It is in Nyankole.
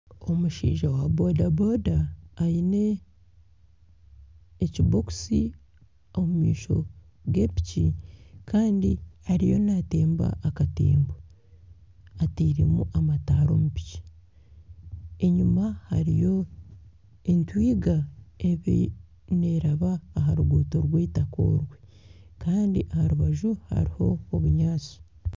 Omushaija wa boda boda aine ekibokisi omu maisho ga piki kandi ariyo naatemba akatembo ateiremu amataara omu piki , enyuma hariyo entwiga neeraba aha ruguuto rw'eitaka orwe kandi aha rubaju hariho obunyaatsi.